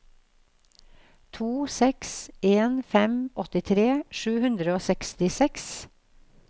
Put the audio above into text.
to seks en fem åttitre sju hundre og sekstiseks